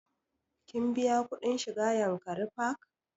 Ka biya kuɗin shiga yankari park?